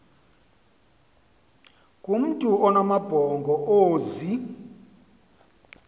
kumntu onamabhongo ozee